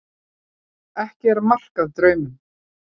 Ekki er mark að draumum.